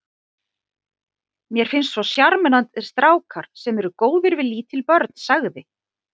Mér finnst svo sjarmerandi strákar sem eru góðir við lítil börn sagði